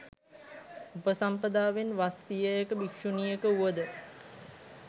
උපසම්පදාවෙන් වස් සියයක භික්‍ෂුණියක වුවද